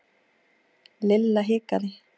Lilla hikaði.